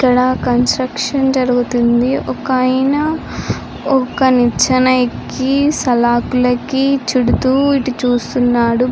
ఇక్కడ కన్స్ట్రక్షన్ జరుగుతుంది. ఒక ఆయన ఒక నిచ్చన ఎక్కి సాలకులు ఎక్కి చూడుతూ ఇటు చూస్తున్నాడు.